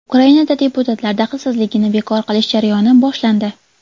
Ukrainada deputatlar daxlsizligini bekor qilish jarayoni boshlandi.